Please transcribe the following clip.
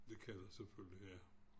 Det kan der selvfølgelig ja